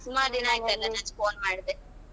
ಸುಮಾರ್ ದಿನ ಆಯಿತಲ್ಲಾ ನಾನ್ phone ಮಾಡ್ದೆ.